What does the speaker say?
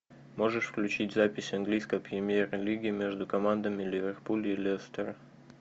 можешь включить запись английской премьер лиги между командами ливерпуля и лестера